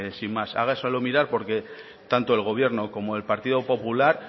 pues bueno sin más hágaselo mirar porque tanto el gobierno como el partido popular